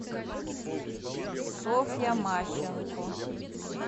софья мащенко